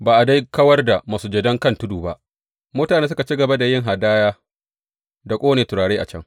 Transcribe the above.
Ba a dai kawar da masujadan kan tudu ba; mutane suka ci gaba da yin hadaya da ƙone turare a can.